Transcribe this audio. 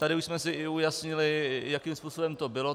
Tady už jsme si i ujasnili, jakým způsobem to bylo.